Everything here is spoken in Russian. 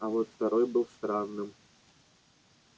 а вот второй был странным